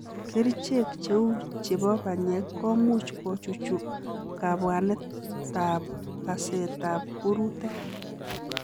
Kerichek cheu chepo panyek komuuch kochuchu kabwanet ak paset ap purutek.